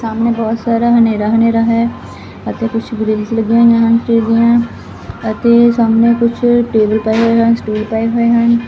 ਸਾਮਣੇ ਬਹੁਤ ਸਾਰਾ ਹਨੇਰਾ_ਹਨੇਰਾ ਹੈ ਅਤੇ ਕੁਛ ਗਰਿੱਲਸ ਲੱਗੀਆਂ ਹੋਈਆਂ ਹਨ ਟੇਡੀਆਂ ਅਤੇ ਸਾਹਮਣੇ ਕੁਝ ਟੇਬਲ ਪਏ ਹੋਏ ਹਨ ਸਕੂਲ ਪਏ ਹੋਏ ਹਨ।